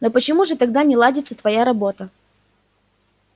но почему же тогда не ладится твоя работа